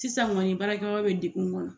Sisan kɔni baarakɛyɔrɔ bɛ degun kɔnɔ